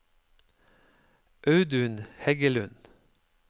Audun Heggelund